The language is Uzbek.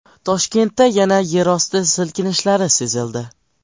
Toshkentda yana yerosti silkinishlari sezildi.